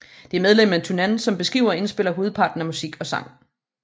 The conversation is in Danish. Det er medlemmet Tunnan som skriver og indspiller hovedparten af musik og sang